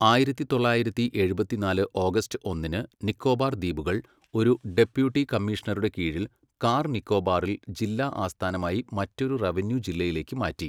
ആയിരത്തി തൊള്ളായിരത്തി എഴുപത്തിനാല് ഓഗസ്റ്റ് ഒന്നിന് നിക്കോബാർ ദ്വീപുകൾ ഒരു ഡെപ്യൂട്ടി കമ്മീഷണറുടെ കീഴിൽ കാർ നിക്കോബാറിൽ ജില്ലാ ആസ്ഥാനമായി മറ്റൊരു റവന്യൂ ജില്ലയിലേക്ക് മാറ്റി.